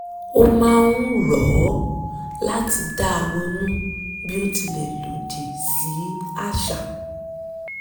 ó máa ń rọ̀ ọ́ láti dá ronú bí ó tilẹ̀ lòdì sí àṣà